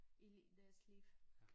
I deres liv